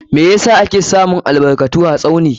Meh yasa ake samun albarkatu a Tsauni?